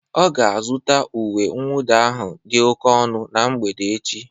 Ọ ga-azụta uwe mwụda ahụ dị oke ọnụ na mgbede echi